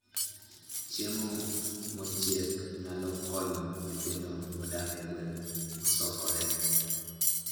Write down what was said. Chiemo mochiek nyalo konyo nyithindo modak e gwenge mosokore